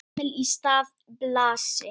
Emil í stað Blasi?